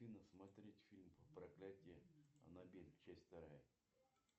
афина смотреть фильм проклятье анабель часть вторая